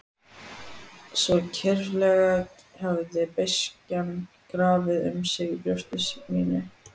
Svo kyrfilega hafði beiskjan grafið um sig í brjósti mínu.